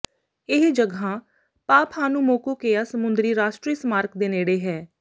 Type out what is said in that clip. ਇਹ ਜਗ੍ਹਾ ਪਾਪਹਾਨੁਮੋਕੁਕੇਯਾ ਸਮੁੰਦਰੀ ਰਾਸ਼ਟਰੀ ਸਮਾਰਕ ਦੇ ਨੇੜੇ ਹੈ